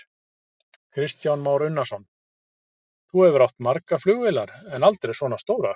Kristján Már Unnarsson: Þú hefur átt margar flugvélar, en aldrei svona stórar?